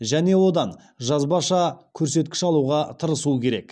және одан жазбаша көрсеткіш алуға тырысу керек